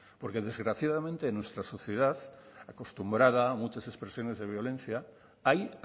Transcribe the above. porque desgraciadamente en nuestra sociedad acostumbrada a muchas expresiones de violencia hay